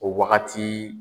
O wagati.